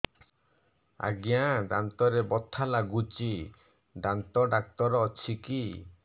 ଆଜ୍ଞା ଦାନ୍ତରେ ବଥା ଲାଗୁଚି ଦାନ୍ତ ଡାକ୍ତର ଅଛି କି